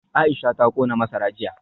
Aisha ta kona masara jiya